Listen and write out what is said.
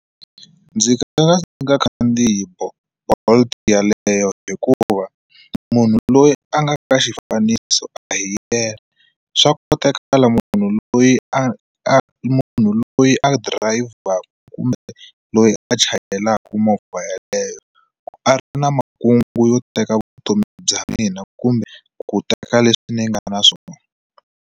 Ndzi nga rhanga ndzi nga kha na Bolt yaleyo hikuva munhu loyi a nga ka xifaniso a hi yena swa kotakala munhu loyi a a munhu loyi a driver kumbe loyi a chayelaka movha yeleyo ku a ri na makungu yo teka vutomi bya mina kumbe ku teka leswi ni nga na swona.